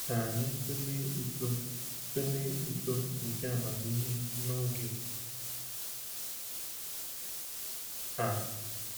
Ka anyị tụlee uto tụlee uto nke amamihe n’oge a.